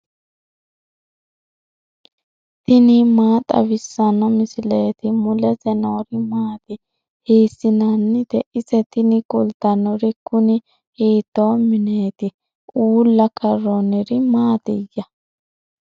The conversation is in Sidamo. tini maa xawissanno misileeti ? mulese noori maati ? hiissinannite ise ? tini kultannori kuni hiito mineeti uulla karroonniri maatiyya